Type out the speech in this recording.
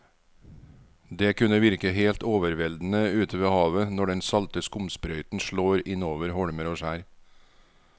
Det kan virke helt overveldende ute ved havet når den salte skumsprøyten slår innover holmer og skjær.